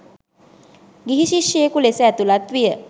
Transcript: ගිහි ශිෂ්‍යයෙකු ලෙස ඇතුලත් විය